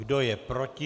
Kdo je proti?